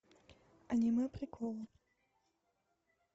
аниме приколы